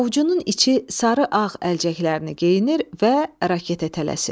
Ovucunun içi sarı-ağ əlcəklərini geyinir və raketə tələsir.